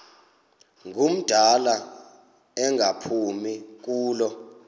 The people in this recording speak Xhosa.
ngumdala engaphumi kulo